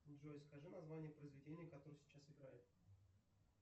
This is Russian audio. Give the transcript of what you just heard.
джой скажи название произведения которое сейчас играет